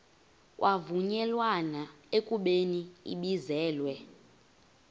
kwavunyelwana ekubeni ibizelwe